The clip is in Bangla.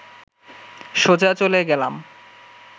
সোজা চলে গেলাম